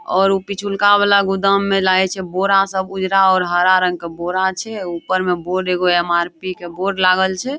और उ पिछुलका वाला गोदाम में लागे छै बोरा सब उजरा और हरा रंग के बोरा छै ऊपर मे बोर्ड एगो एम.आर.पी. के बोर्ड लागल छै।